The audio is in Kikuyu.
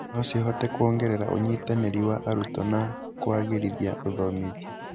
no cihote kuongerera ũynitanĩri wa arutwo na kũagĩrithia ũthomithia